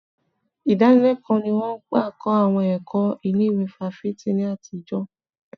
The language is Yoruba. Ìdánilẹ́kọ̀ọ́ ni wọn ń gbà kọ́ àwọn ẹ̀kọ́ ilé ìwé fáfitì ní àtijọ́.